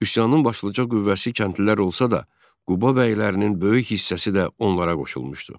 Üsyanın başlıca qüvvəsi kəndlilər olsa da, Quba bəylərinin böyük hissəsi də onlara qoşulmuşdu.